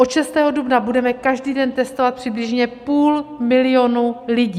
Od 6. dubna budeme každý den testovat přibližně půl milionu lidí.